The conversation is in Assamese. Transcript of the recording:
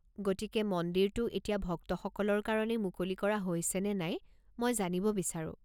গতিকে মন্দিৰটো এতিয়া ভক্তসকলৰ কাৰণে মুকলি কৰা হৈছেনে নাই মই জানিব বিচাৰোঁ।